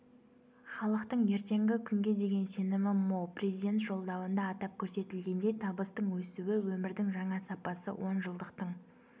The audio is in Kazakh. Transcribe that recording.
халықтың ертеңгі күнге деген сенімі мол президент жолдауында атап көрсетілгендей табыстың өсуі өмірдің жаңа сапасы онжылдықтың